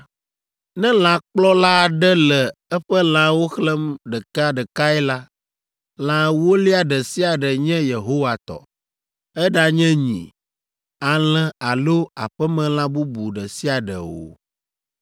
Ne lãkplɔla aɖe le eƒe lãwo xlẽm ɖekeɖekae la, lã ewolia ɖe sia ɖe nye Yehowa tɔ, eɖanye nyi, alẽ alo aƒemelã bubu ɖe sia ɖe o.